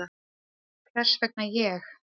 Hvers vegna ég?